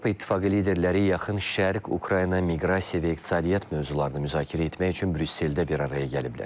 Avropa İttifaqı liderləri Yaxın Şərq, Ukrayna, miqrasiya və iqtisadiyyat mövzularını müzakirə etmək üçün Brüsseldə bir araya gəliblər.